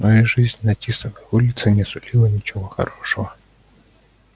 но и жизнь на тисовой улице не сулила ничего хорошего